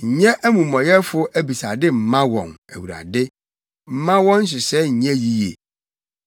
nyɛ amumɔyɛfo abisade mma wɔn, Awurade; mma wɔn nhyehyɛe nnyɛ yiye.